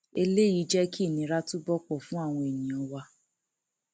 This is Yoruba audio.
eléyìí jẹ kí ìnira túbọ pọ fún àwọn èèyàn wa